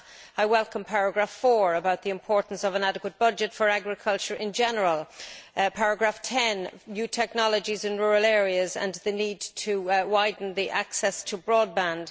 I welcome paragraph 4 about the importance of an adequate budget for agriculture in general, and paragraph 10, about new technologies in rural areas and the need to widen the access to broadband.